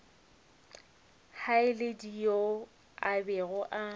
haledi yo a bego a